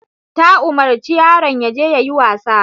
Ta umarci yaron yaje yayi wasa.